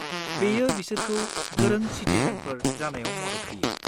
बेयो बिसोरखौ गोरों सिटिजेनफोर जानायाव मदद होयो।